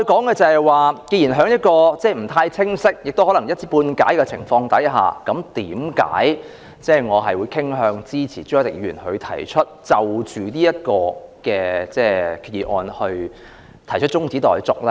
既然在不太了解亦可能是一知半解的情況下，為何我仍然傾向支持朱凱廸議員就這項決議案提出的中止待續議案呢？